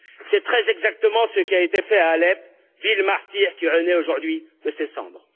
C'est très exactement ce qui a été fait à Alep, ville martyre qui renaît aujourd'hui de ses cendres.